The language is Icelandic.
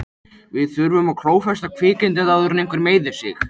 Við þurfum að klófesta kvikindið áður en einhver meiðir sig.